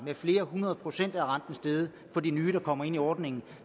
med flere hundrede procent for de nye der kommer ind i ordningen